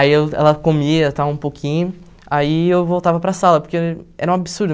Aí eu ela comia, tal um pouquinho, aí eu voltava para sala, porque era um absurdo.